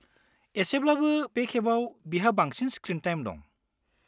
एसेब्लाबो बे खेबाव बिहा बांसिन स्क्रिन टाइम दं।